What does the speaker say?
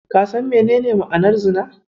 Ka san menene ma'anar Zina?